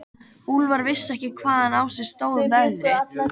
Úlfar vissi ekki hvaðan á sig stóð veðrið.